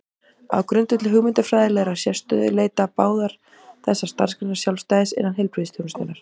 Á grundvelli hugmyndafræðilegrar sérstöðu leita báðar þessar starfsgreinar sjálfstæðis innan heilbrigðisþjónustunnar.